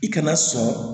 I kana sɔn